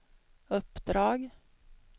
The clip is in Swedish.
uppdrag